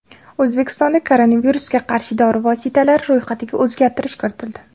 O‘zbekistonda koronavirusga qarshi dori vositalari ro‘yxatiga o‘zgartirish kiritildi.